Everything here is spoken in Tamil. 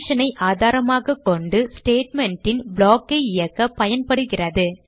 condition ஐ ஆதாரமாக கொண்டு statements ன் block ஐ இயக்கப் பயன்படுகிறது